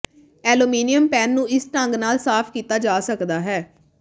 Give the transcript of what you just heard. aluminium pan ਨੂੰ ਇਸ ਢੰਗ ਨਾਲ ਸਾਫ਼ ਕੀਤਾ ਜਾ ਸਕਦਾ ਹੈ